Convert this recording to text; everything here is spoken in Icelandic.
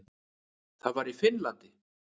Það var í Finnlandi.